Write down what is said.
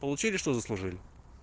получили что заслужили